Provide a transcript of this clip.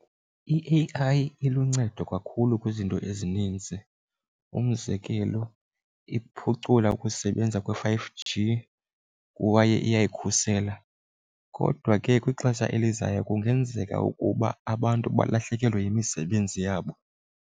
I-A_I iluncedo kakhulu kwizinto ezininzi, umzekelo iphucula ukusebenza kwe-five G kwaye iyakhusela. Kodwa ke kwixesha elizayo kungenzeka ukuba abantu balahlekelwe yimisebenzi yabo.